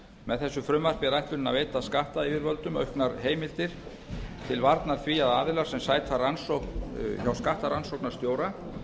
með þessu frumvarpi er ætlunin að veita skattyfirvöldum auknar heimildir til varnar því að aðilar sem sæta rannsókn hjá skattrannsóknarstjóra